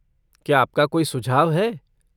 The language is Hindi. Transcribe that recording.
क्या आपका कोई सुझाव है?